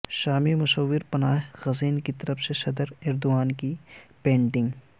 شامی مصور پناہ گزین کیطرف سے صدر ایردوان کی پینٹنگ